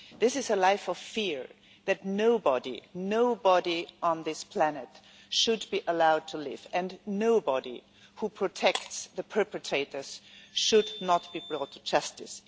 This is a life of fear that nobody on this planet should be allowed to live, and nobody who protects the perpetrators should not be brought to justice.